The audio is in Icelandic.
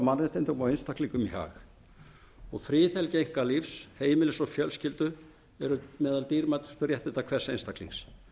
mannréttindum og einstaklingum í hag friðhelgi einkalífs heimilis og fjölskyldu eru meðal dýrmætustu réttinda hvers einstaklings